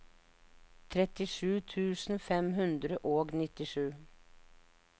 trettisju tusen fem hundre og nittisju